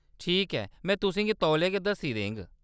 ठीक ऐ, में तुसें गी तौले गै दस्सी देङ।